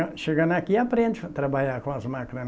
Chegando aqui, aprende a trabalhar com as máquinas.